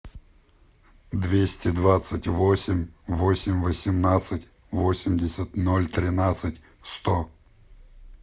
двести двадцать восемь восемь восемнадцать восемьдесят ноль тринадцать сто